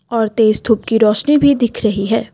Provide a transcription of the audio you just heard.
और तेज धूप की रोशनी भी दिख रही है।